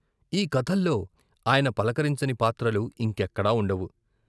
ఈ కథల్లో ఆయన పలకరించని పాత్రలు ఇంకెక్కడా వుండవు.